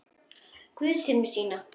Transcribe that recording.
Guð sér um sína.